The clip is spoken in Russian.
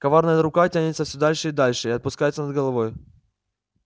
коварная рука тянется всё дальше и дальше и опускается над головой